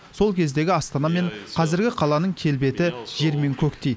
сол кездегі астана мен қазіргі қаланың келбеті жер мен көктей